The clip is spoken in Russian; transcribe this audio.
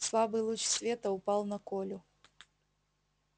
слабый луч света упал на колю